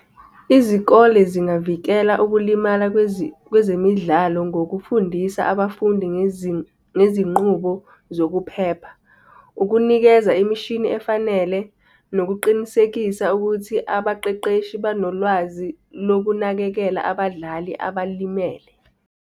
Izikole zingavikela ukulimala kwezemidlalo ngokufundisa abafundi ngezinqubo zokuphepha, ukunikeza imishini efanele nokuqinisekisa ukuthi abaqeqeshi banolwazi lokunakekela abadlali abalimele.